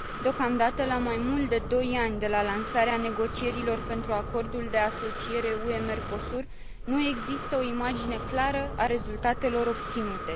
Deocamdată, la mai mult de doi ani de la lansarea negocierilor pentru Acordul de asociere UE Mecosur, nu există o imagine clară a rezultatelor obținute.